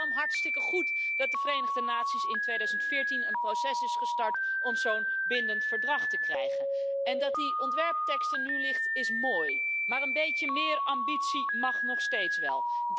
Het is daarom hartstikke goed dat de Verenigde Naties in 2014 een proces zijn gestart om zo'n bindend verdrag te krijgen. Dat die ontwerptekst er nu ligt is mooi, maar een beetje meer ambitie mag nog steeds wel.